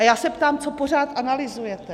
A já se ptám - co pořád analyzujete?